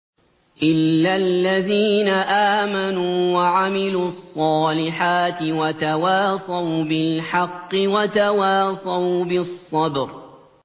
إِلَّا الَّذِينَ آمَنُوا وَعَمِلُوا الصَّالِحَاتِ وَتَوَاصَوْا بِالْحَقِّ وَتَوَاصَوْا بِالصَّبْرِ